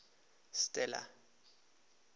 stella